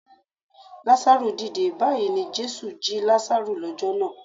Lazaru dìde! Báyìí ni Jésù jí Lazaru lọ́jọ́ náà.